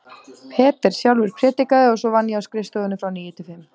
Peter sjálfur prédikaði og svo vann ég á skrifstofunni frá níu til fimm.